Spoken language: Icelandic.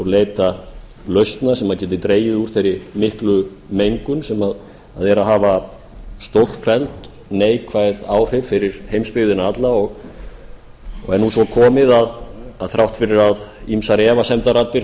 leita lausna sem gætu dregið úr þeirri miklu mengun sem er að hafa stórfelld neikvæð áhrif fyrir heimsbyggðina alla og er nú svo komið að þrátt fyrir að ýmsar efasemdarraddir